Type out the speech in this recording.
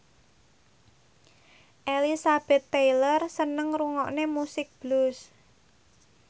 Elizabeth Taylor seneng ngrungokne musik blues